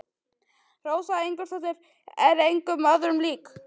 Rósa Ingólfsdóttir er engum öðrum lík.